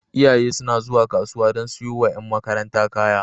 Iyaye suna zuwa kasuwa don siyowa ƴan makaranta kaya.